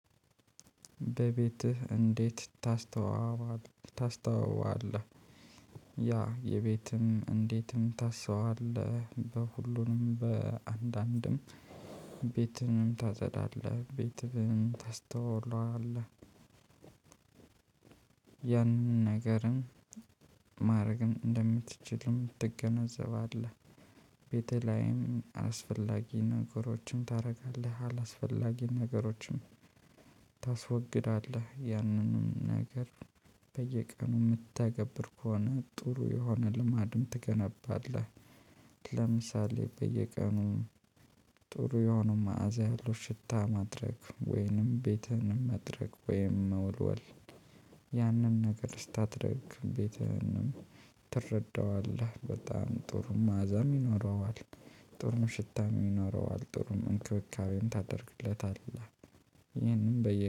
በቤትህ እንዴት ታስውባለህ ታስውባለህ? ያ የቤትም እንዴትም ታስውበዋለህ በሁሉንም በአንዳንድም ቤትም ታጸዳለህ ቤትህን ታስተውለዋለህ። ያንን ነገርም ማድረግም እንደምትችልም ትገነዘባለህ። ቤትህ ላይም አስፈላጊ ነገሮችን ታደርጋለህ አላስፈላጊ ነገሮችን ታስወግዳለህ ያንንም ነገር በየቀኑ የምትተገብር ከሆነ ጥሩ የሆነ ልማድም ትገነባለህ። ለምሳሌ በየቀኑ ጥሩ የሆኑ መዓዛ ያለው ሽታ ማድረግ ወይንም ቤትህን ማድረቅ ወይንም መወልወል። ያንን ነገር ስታደርግ ቤተህንም ትረዳዋለህ በጣም ጥሩ መዓዛም ይኖረዋል። ጥሩም ሽታም ይኖረዋል ጥሩን እንክብካቤን ታደርግለታለህ። ይህንም በየ